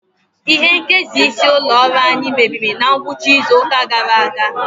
Ihe nkesa isi ụlọ ọrụ anyị mebiri na ngwụcha izu ụka gara aga.